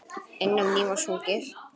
Enn á ný var sungið.